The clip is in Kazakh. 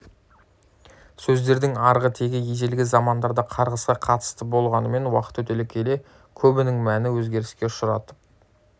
сөздердің арғы тегі ежелгі замандарда қарғысқа қатысты болғанымен уақыт өте келе көбінің мәні өзгеріске ұшырап